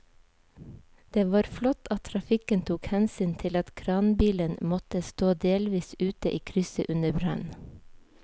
Det var flott at trafikken tok hensyn til at kranbilen måtte stå delvis ute i krysset under brannen.